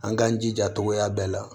An k'an jija togoya bɛɛ la